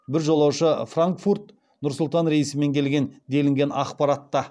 бір жолаушы франкфуркт нұр сұлтан рейсімен келген делінген ақпаратта